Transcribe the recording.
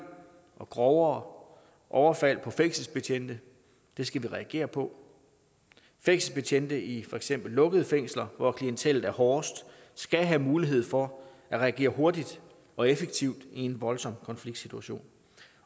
og grovere overfald på fængselsbetjente det skal vi reagere på fængselsbetjente i for eksempel lukkede fængsler hvor klientellet er hårdest skal have mulighed for at reagere hurtigt og effektivt i en voldsom konfliktsituation